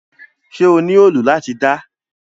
Ṣe o ni òòlù lati da?